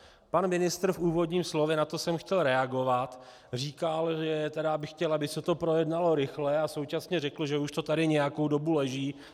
Pan ministr v úvodním slově - na to jsem chtěl reagovat - říkal, že tedy by chtěl, aby se to projednalo rychle, a současně řekl, že už to tady nějakou dobu leží.